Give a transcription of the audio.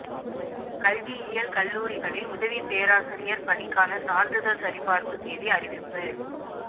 கல்வியியல் கல்லூரிகளில் உதவிப் பேராசிரியா் பணிக்கான சான்றிதழ் சரிபாா்ப்பு தேதி அறிவிப்பு